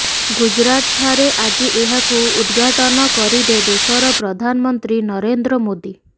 ଗୁଜୁରାଟ ଠାରେ ଆଜି ଏହାକୁ ଉଦ୍ଘାଟନ କରିବେ ଦେଶର ପ୍ରଧାନ ମନ୍ତ୍ରୀ ନରେନ୍ଦ୍ର ମୋଦି